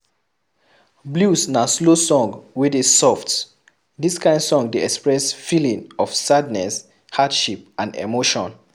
Blues na slow song wey dey soft, this kind song dey express feeling of sadness, hardship and emotion